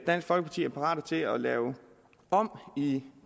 dansk folkeparti er parate til at lave om i